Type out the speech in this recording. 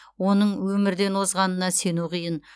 оның өмірден озғанына сену қиын